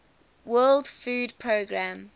world food programme